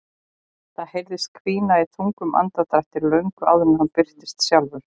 Það heyrðist hvína í þungum andardrættinum löngu áður en hann birtist sjálfur.